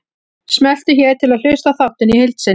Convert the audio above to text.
Smelltu hér til að hlusta á þáttinn í heild sinni